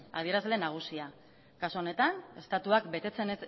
adierazle nagusia kasu honetan estatuak betetzen